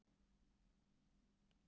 Óðinn hefur verið hliðstæður Merkúríusi.